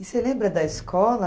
E você lembra da escola?